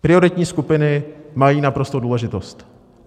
Prioritní skupiny mají naprostou důležitost.